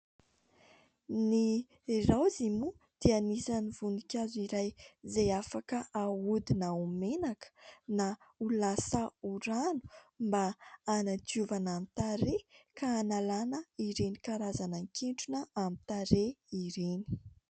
Ny raozy moa dia anisan'ny voninkazo iray izay afaka ahodina ho menaka na ho lasa ho rano mba anadiovana ny tarehy ka analana ireny karazana ketrona amin'ny tarehy ireny.